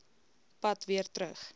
pad weer terug